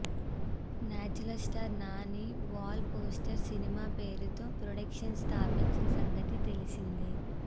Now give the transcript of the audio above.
natural star Nani wall poster సినిమా పేరుతో production స్థాపించిన సంగతి తెలిసిందే